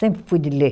Sempre fui de ler.